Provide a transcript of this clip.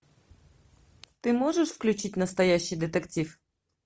ты можешь включить настоящий детектив